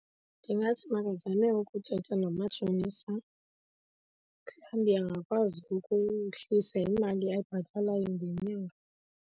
Ndingathi makazame ukuthetha nomatshonisa, mhlawumbi angakwazi ukuhlisa imali ayibhatalayo ngenyanga.